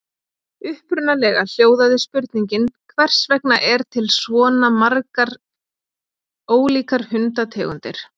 Upprunalega hljóðaði spurningin Hvers vegna er til svona margar ólíkar hundategundir?